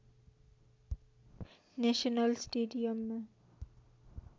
national स्टेडियममा